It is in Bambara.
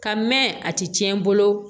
Ka mɛn a ti tiɲɛ n bolo